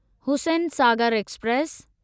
Hussain Sagar express